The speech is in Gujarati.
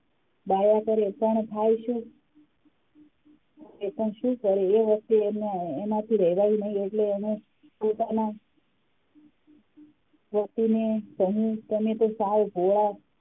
ગાયા કરે પણ થાય શું એ પણ શું કરે એ વસ્તુ એનાથી રહેવાયું નહીં એટલે એને પોતાનાં પતિ ને કહ્યું તમે તો સાવ ભોળા,